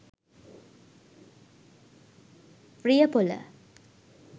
riyapola